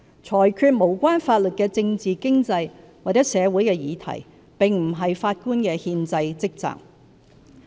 裁決無關法律的政治、經濟或社會議題並不是法官的憲制職責。